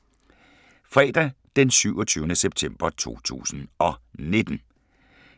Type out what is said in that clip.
Fredag d. 27. september 2019